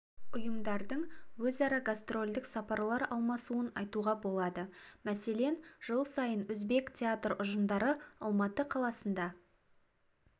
ұйымдардың өзара гастрольдік сапарлар алмасуын айтуға болады мәселен жыл сайын өзбек театр ұжымдары алматы қаласында